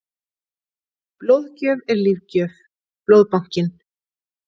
Blóðgjöf er lífgjöf- Blóðbankinn.